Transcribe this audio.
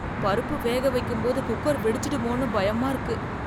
பருப்பு வேக வைக்கும் போது குக்கர் வெடிச்சிடுமோனு பயமா இருக்கு.